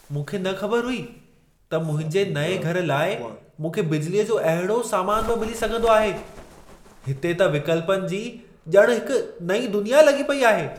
मूंखे न ख़बर हुई त मुंहिंजे नएं घर लाइ मूंखे बिजलीअ जो अहिड़ो सामान बि मिली सघंदो आहे - हिते त विकल्पनि जी ॼण हिक नईं दुनिया लॻी पेई आहे!